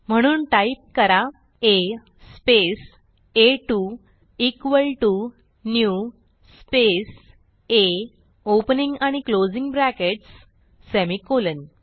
म्हणून टाईप करा a space a two equal t o new space a opening आणि closing brackets semicolon